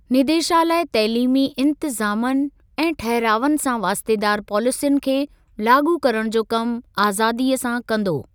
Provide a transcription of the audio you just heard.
निदेशालय तइलीमी इंतज़ामनि ऐं ठहिरावनि सां वास्तेदार पॉलिसियुनि खे लाॻू करण जो कमु आज़ादीअ सां कंदो।